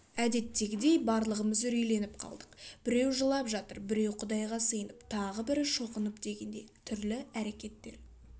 әдеттегідей барлығымыз үрейленіп қалдық біреу жылап жатыр біреу құдайға сиынып тағы бірі шоқынып дегендей түрлі әрекеттер